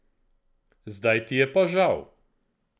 Zdaj ti je pa žal.